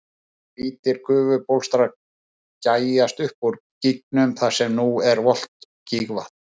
Hvítir gufubólstrar gægjast upp úr gígnum þar sem nú er volgt gígvatn.